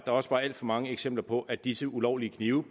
også var alt for mange eksempler på at disse ulovlige knive